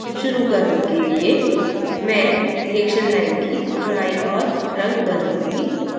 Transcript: शुरु करने के लिये मैं reaction line की चौड़ाई और रंग बदलूँगी